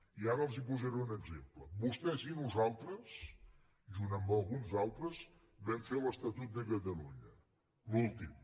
i ara els posaré un exemple vostès i nosaltres junt amb alguns altres vam fer l’estatut de catalunya l’últim